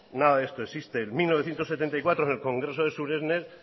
nada de esto existe en mil novecientos setenta y cuatro en el congreso de suresnes